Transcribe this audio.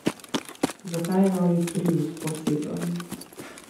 Zakaj je novi prius poseben.